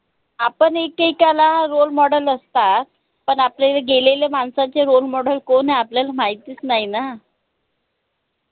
आपन ला role model असतात पन आपल्या गेलेल्या माणसाचे role model कोन आय आपल्याला माहितीच नाई ना